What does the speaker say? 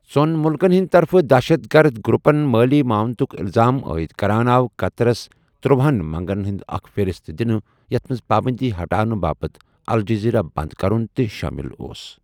ژۄن مُلکَن ہندۍ طرفہٕ دہشَت گرٕد گروپَن مٲلی معاونتُک الزام عٲید کران آو قطرس ترٛوہن منگن ہُند اکھ فہرست دِنہٕ ، یَتھ منٛز پابندی ہٹاونہٕ باپت الجزیرہ بنٛد کرُن تہِ شٲمِل اوس۔